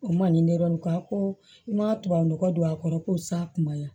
O man di ne yɛrɛ ye k'a ko i ma tubabunɔgɔ don a kɔrɔ ko sa kuma ɲɛ